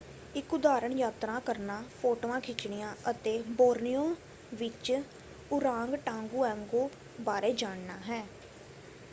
ਇੱਕ ਉਦਾਹਰਣ ਯਾਤਰਾ ਕਰਨਾ ਫੋਟੋਆਂ ਖਿੱਚਣੀਆਂ ਅਤੇ ਬੋਰਨੀਓ ਵਿੱਚ ਓਰਾਂਗਟਾਂਗੁਆਂਗੋ ਬਾਰੇ ਜਾਣਨਾ ਹੈ।